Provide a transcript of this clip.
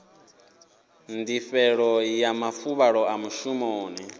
ndifhelo ya mafuvhalo a mushumoni